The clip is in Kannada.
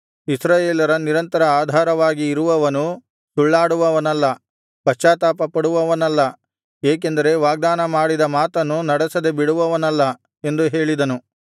ಇಸ್ರಾಯೇಲರ ನಿರಂತರ ಆಧಾರವಾಗಿ ಇರುವವನು ಸುಳ್ಳಾಡುವವನಲ್ಲ ಪಶ್ಚಾತ್ತಾಪಪಡುವವನಲ್ಲ ಏಕೆಂದರೆ ವಾಗ್ದಾನ ಮಾಡಿದ ಮಾತನ್ನು ನಡೆಸದೆ ಬಿಡುವವನಲ್ಲ ಎಂದು ಹೇಳಿದನು